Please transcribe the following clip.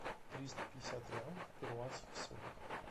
триста пятьдесят реалов в перуанских солях